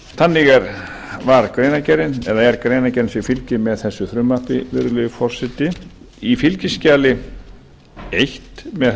þannig var greinargerðin eða er greinargerðin sem fylgir með þessu frumvarpi virðulegi forseti í fylgiskjali eins með